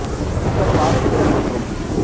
two கண் பார்வை திறன் மற்றும்